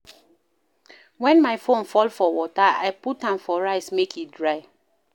Wen my phone fall for water, I put am for rice make e dry.